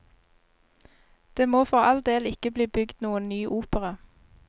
Det må for all del ikke bli bygd noen ny opera.